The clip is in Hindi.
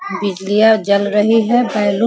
बिजलियां जल रही है बैलून --